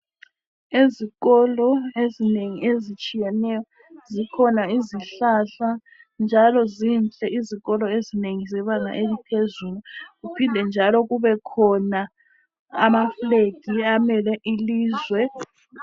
Ezikolo ezinengi ezitshiyeneyo zikhona izihlahla, njalo zinhle izikolo ezinengi zebanga eliphezulu. Kuphinde njalo kubekhona amafulegi amele ilizwe.